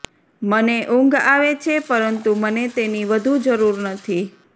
મને ઊંઘ આવે છે પરંતુ મને તેની વધુ જરૂર નથી